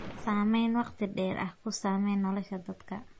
Saamayn waqti dheer ah ku samee nolosha dadka.